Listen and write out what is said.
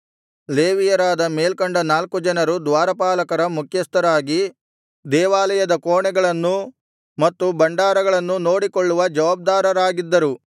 ಲೇವಿಯರಾದ ಮೇಲ್ಕಂಡ ನಾಲ್ಕು ಜನರು ದ್ವಾರಪಾಲಕರ ಮುಖ್ಯಸ್ಥರಾಗಿ ದೇವಾಲಯದ ಕೋಣೆಗಳನ್ನೂ ಮತ್ತು ಭಂಡಾರಗಳನ್ನೂ ನೋಡಿಕೊಳ್ಳುವ ಜವಾಬ್ದಾರರಾಗಿದ್ದರು